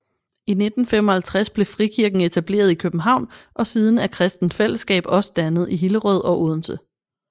I 1955 blev frikirken etableret i København og siden er Kristent Fællesskab også dannet i Hillerød og Odense